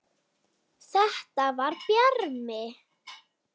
Þetta var Bjarmi!